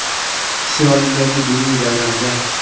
Isroildagi diniy bayramda.